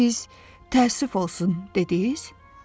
Siz təəssüf olsun dediniz?